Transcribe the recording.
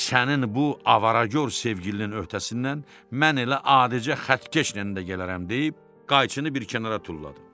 Sənin bu avaragor sevgilinin öhdəsindən mən elə adicə xəttkeşlə də gələrəm deyib, qayçını bir kənara tulladım.